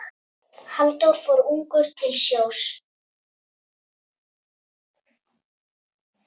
Halldór fór ungur til sjós.